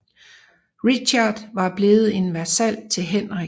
Richard var blevet en vasal til Henrik